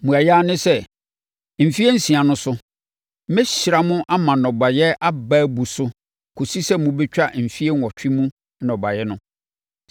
Mmuaeɛ ara ne sɛ, mfeɛ nsia no so, mɛhyira mo ama nnɔbaeɛ aba abu so kɔsi sɛ mobɛtwa mfeɛ nwɔtwe mu nnɔbaeɛ no.